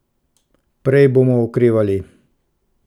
Prej bomo okrevali.